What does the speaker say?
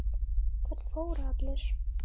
Hvert fóru allir?